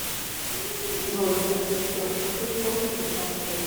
джой ассистент скажи сколько сейчас время